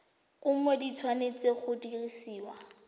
kumo di tshwanetse go dirisiwa